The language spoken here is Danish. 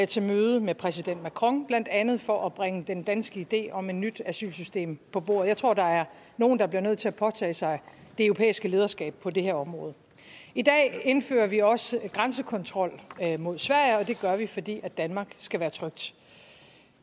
til møde med præsident macron blandt andet for at bringe den danske idé om et nyt asylsystem på bordet jeg tror der er nogen der bliver nødt til at påtage sig det europæiske lederskab på det her område i dag indfører vi også grænsekontrol mod sverige og det gør vi fordi danmark skal være trygt